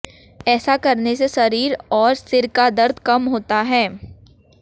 ऐसा करने से शरीर और सिर का दर्द कम होता है